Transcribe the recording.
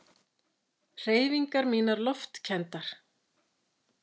Hreyfingar mínar loftkenndar.